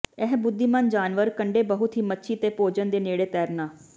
ਇਹ ਬੁੱਧੀਮਾਨ ਜਾਨਵਰ ਕੰਢੇ ਬਹੁਤ ਹੀ ਮੱਛੀ ਤੇ ਭੋਜਨ ਦੇ ਨੇੜੇ ਤੈਰਨਾ